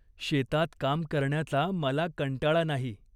शेतात काम करण्याचा मला कंटाळा नाही.